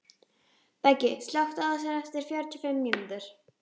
Beggi, slökktu á þessu eftir fjörutíu og fimm mínútur.